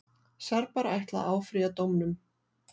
Serbar ætla að áfrýja dómnum.